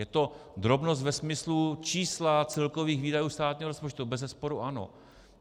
Je to drobnost ve smyslu čísla celkových výdajů státního rozpočtu, to bezesporu ano.